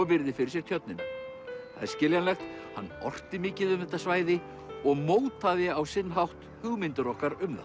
virðir fyrir sér tjörnina það er skiljanlegt hann orti mikið um þetta svæði og mótaði á sinn hátt hugmyndir okkar um